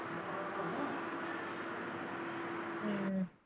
ਹਮ